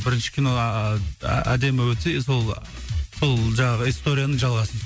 бірінші кино ааа әдемі өтсе сол сол жаңағы историяның жалғасы